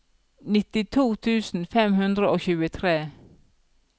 nittito tusen fem hundre og tjuetre